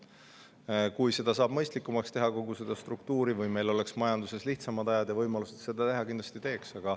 Kui kogu seda struktuuri saab mõistlikumaks teha või meil oleks majanduses lihtsamad ajad ja võimalus seda teha, siis kindlasti teeks.